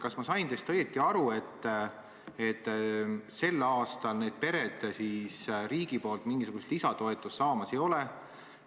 Kas ma sain teist õigesti aru, et sel aastal need pered riigilt mingisugust lisatoetust ei saa?